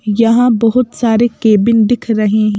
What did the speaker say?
यहां बहुत सारे केबिन दिख रहे हैं।